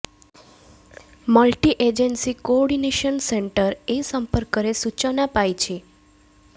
multi agency coordination centre ଏ ସମ୍ପର୍କରେ ସୂଚନା ପାଇଛି